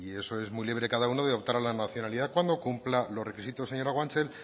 eso es muy libre cada uno de optar a la nacionalidad cuando cumpla los requisitos señora guanche